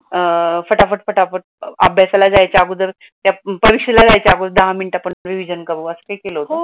अं पटापट, पटापट अभ्यासाला जायचं अगोदर त्या परीक्षेला जायचे अगोदर दहा मिनिटात अगोदर रिव्हिजन करू